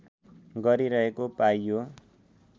गरिरहेको पाइयो